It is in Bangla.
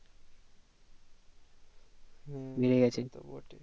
হুম ওটাই